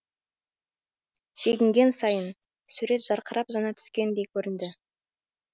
шегінген сайын сурет жарқырап жана түскендей көрінді